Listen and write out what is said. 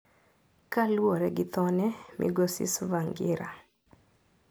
Kaluwore gi thone, migosi Tsvangira.